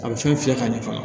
A bɛ fɛn fiyɛ ka ɲɛ fɔlɔ